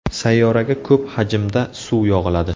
Sayyoraga ko‘p hajmda suv yog‘iladi.